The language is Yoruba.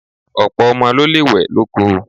Ọ̀pọ̀ ọmọ ló lè wẹ̀ lóko.